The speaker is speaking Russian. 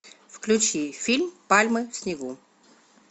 включи фильм пальмы в снегу